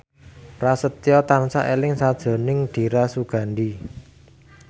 Prasetyo tansah eling sakjroning Dira Sugandi